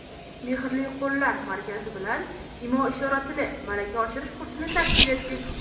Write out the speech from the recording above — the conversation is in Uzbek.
"Mehrli qo‘llar" markazi bilan "Imo-ishora tili" malaka oshirish kursini tashkil etdik.